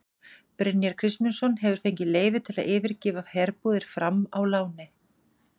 Brynjar Kristmundsson hefur fengið leyfi til að yfirgefa herbúðir Fram á láni.